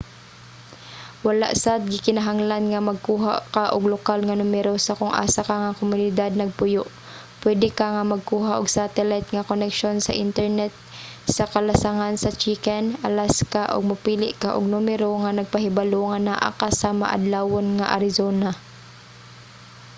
wala sad gikinahanglan nga magkuha ka og lokal nga numero sa kung asa ka nga komunidad nagpuyo; pwede ka nga magkuha og satellite nga koneksyon sa internet sa kalasangan sa chicken alaska ug mopili ka og numero nga nagpahibalo nga naa ka sa maadlawon nga arizona